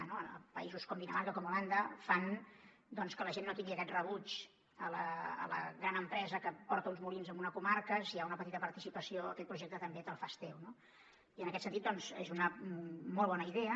a països com dinamarca com holanda fan doncs que la gent no tingui aquest rebuig a la gran empresa que porta uns molins a una comarca si hi ha una petita participació aquell projecte també te’l fas teu no i en aquest sentit doncs és una molt bona idea